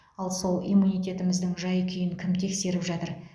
ал сол иммунитетіміздің жай күйін кім тексеріп жатыр